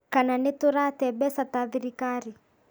Kana nĩtũrate mbeca ta thirikari